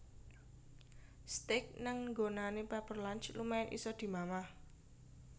Steak nang nggonane Pepper Lunch lumayan iso dimamah